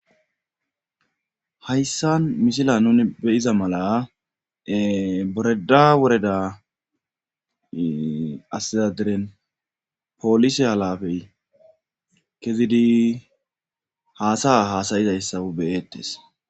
Hayssan mishila nuni beyiza mala boreda woreda asizadiren poolise halafey kezidi haasaya haasayizayssa beyettes.